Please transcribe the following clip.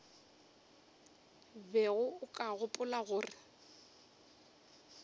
bego o ka gopola gore